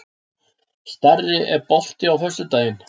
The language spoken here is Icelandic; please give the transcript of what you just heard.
Starri, er bolti á föstudaginn?